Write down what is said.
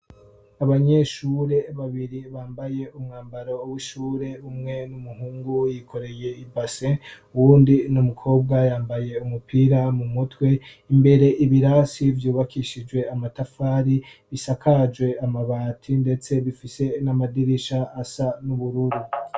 Abanyeshure babiri bambaye umwambaro w'ishure , umwe n'umuhungu yikoreye i base uwundi n'umukobwa yambaye umupira mu mutwe imbere ibirasi vyubakishijwe amatafari bisakajwe amabati ndetse bifise n'amadirisha asa n'ubururu.